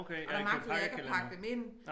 Og der magtede jeg ikke at pakke dem ind